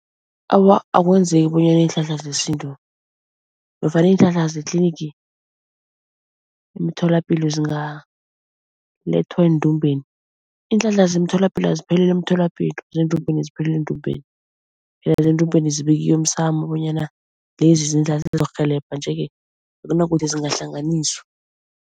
Awa akwenzeki bonyana iinhlahla zesintu nofana iinhlahla ze-clinic, emtholapilo zingalethwa endumbeni. Iinhlahla zemtholapilo aziphelele emtholapilo, zendumbeni ziphelele endumbeni. Phela zendumbeni zibekiwe emsamo bonyana lezi zindlu zizokurhelebha nje-ke akunakuthi zingahlanganiswa.